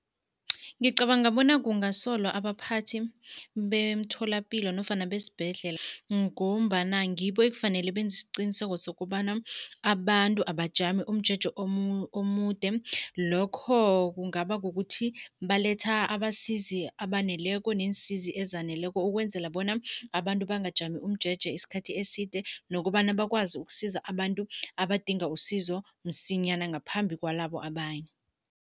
Ngicabanga bona kungasolwa abaphathi bemtholapilo nofana besibhedlela ngombana ngibo ekufanele benze isiqiniseko sokobana abantu abajami umjeje omude, lokho kungaba ukuthi baletha abasizi abaneleko neensizi ezaneleko ukwenzela bona abantu bangajami umjeje isikhathi eside nokobana bakwazi ukusiza abantu abadinga usizo msinyana ngaphambi kwalabo abanye.